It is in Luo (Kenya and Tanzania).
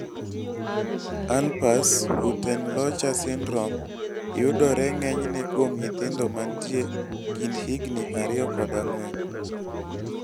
Alpers-Huttenlocher syndrome yodore ng'enyne kuom nyithindo matie kind higni 2 kod 4